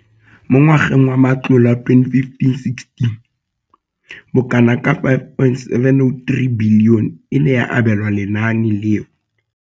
Mo ngwageng wa matlole wa 2015, bokana ka R5 703 bilione e ne ya abelwa lenaane leno.